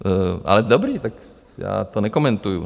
Ale dobrá, tak já to nekomentuji.